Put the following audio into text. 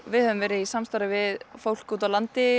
við höfum verið í samstarfi við fólk úti á landi